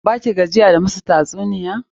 Ba ki gajiya da musu tatsuniya?